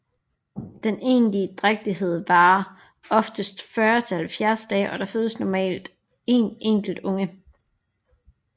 Den egentlige drægtighed varer oftest 40 til 70 dage og der fødes normalt en enkelt unge